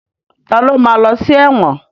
Ta ló ma lọ sí ẹ̀wọ̀n?